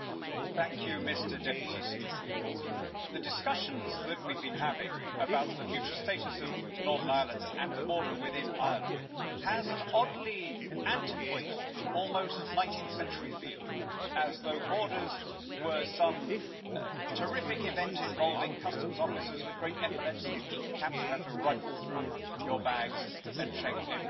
Mr President, the discussions that we have been having about the future status of Northern Ireland and the border within Ireland have an oddly antiquated, almost 19th century feel as though borders were some terrific event involving customs officers with great epaulets and peaked caps who have to rifle through your bags and check every item.